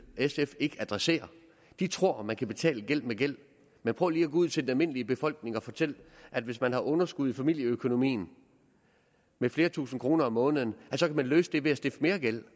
sf ikke adressere de tror at man kan betale gæld med gæld men prøv lige ud til den almindelige befolkning og fortæl at hvis man har underskud i familieøkonomien med flere tusinde kroner om måneden så kan man løse det ved at stifte mere gæld